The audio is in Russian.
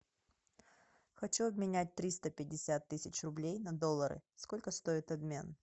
хочу обменять триста пятьдесят тысяч рублей на доллары сколько стоит обмен